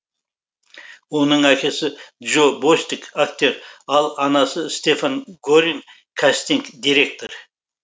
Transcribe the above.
оның әкесі джо бостик актер ал анасы стефан горин кастинг директор